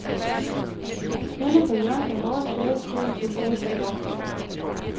Henne på hjørnet af vores gade stod en soldat på vagt.